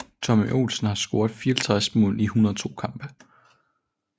Tommy Olsen har scoret 54 mål i 102 kampe